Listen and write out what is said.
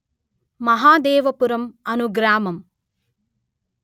మహదేవపురం అను గ్రామము